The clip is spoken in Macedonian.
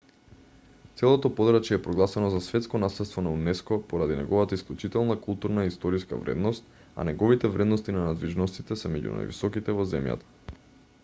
целото подрачје е прогласено за светско наследство на унеско поради неговата исклучителна културна и историска вредност а неговите вредности на надвижностите се меѓу највисоките во земјата